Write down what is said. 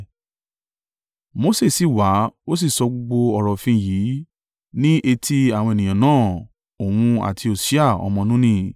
Mose sì wá ó sì sọ gbogbo ọ̀rọ̀ òfin yìí ní etí àwọn ènìyàn náà, òun, àti Hosea ọmọ Nuni.